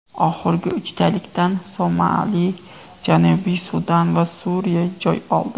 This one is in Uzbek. Oxirgi uchtalikdan Somali, Janubiy Sudan va Suriya joy oldi.